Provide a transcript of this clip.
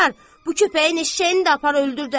Bu köpəyin eşşəyini də apar öldür də!